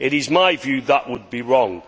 In my view that would be wrong.